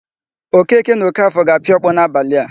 Okeke na Ọkafọ ga-apịa ọkpọ n'abalị a.